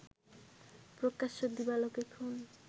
প্রকাশ্য দিবালোকে খুন